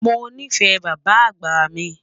Mọ ní fẹ̀ bàbá àgbá mi.